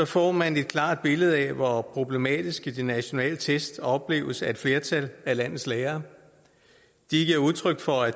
får man et klart billede af hvor problematiske de nationale test opleves af et flertal af landets lærere de giver udtryk for at